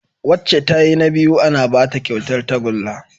Wacca tayi na biyu ana Bata kyautar tagulla